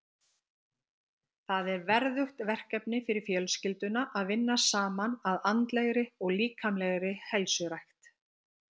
Það er verðugt verkefni fyrir fjölskylduna að vinna saman að andlegri og líkamlegri heilsurækt.